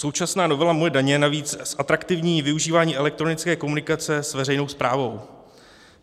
Současná novela Moje daně navíc zatraktivní využívání elektronické komunikace s veřejnou správou.